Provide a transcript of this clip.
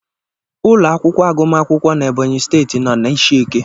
Ụlọ akwụkwọ agụm akwụkwọ n'Ebonyi steeti nọ na ishieke.